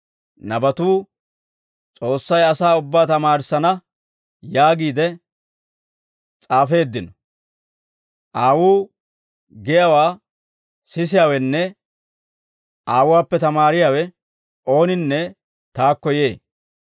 Nabatuu ‹S'oossay asaa ubbaa tamaarissana› yaagiide s'aafeeddino; Aawuu giyaawaa sisiyaawenne Aawuwaappe tamaariyaawe ooninne taakko yee.